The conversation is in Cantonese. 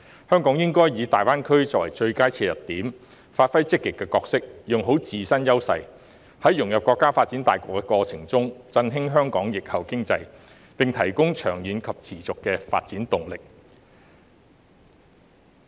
香港應該以大灣區作為最佳切入點，扮演積極的角色，發揮自身優勢，在融入國家發展大局的過程中，振興香港疫後經濟，並提供長遠及持續的發展動力。